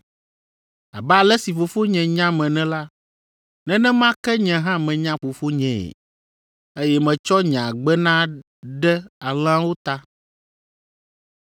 abe ale si Fofonye nyam ene la, nenema ke nye hã menya Fofonyee, eye metsɔ nye agbe na ɖe alẽawo ta.